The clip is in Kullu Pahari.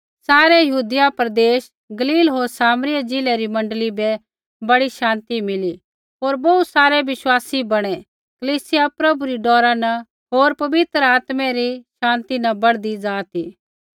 सारै यहूदिया प्रदेश गलील होर सामरिऐ ज़िलै री मण्डली बै बड़ी शान्ति मिली होर बोहू सारै बिश्वासी बणै कलीसिया प्रभु री डौरा न होर पवित्र आत्मै री शान्ति न बढ़दी ज़ा ती